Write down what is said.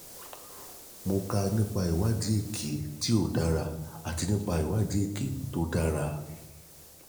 mo kà nípa ìwádìí èké tí ò dára àti ìwádìí èké tí kò dára